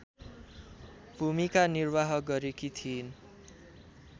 भूमिका निर्वाह गरेकी थिइन्